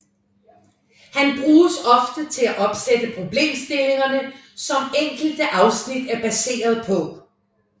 Han bruges ofte til at opsætte problemstillingerne som enkelte afsnit er baseret på